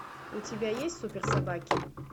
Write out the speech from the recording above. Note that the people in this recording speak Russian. у тебя есть супер собаки